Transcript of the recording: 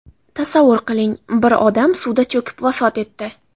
Tasavvur qiling, bir odam suvda cho‘kib vafot etdi.